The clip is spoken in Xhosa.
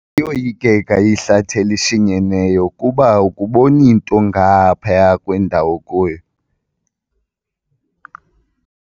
Liyoyikeka ihlathi elishinyeneyo kuba akuboni nto ngaphaya kwendawo okuyo.